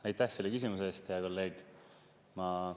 Aitäh selle küsimuse eest, hea kolleeg!